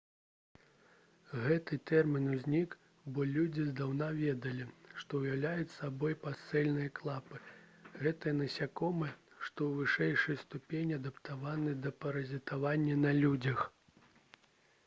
гэты тэрмін узнік бо людзі здаўна ведалі што ўяўляюць сабой пасцельныя клапы гэтыя насякомыя што ў вышэйшай ступені адаптаваны да паразітавання на людзях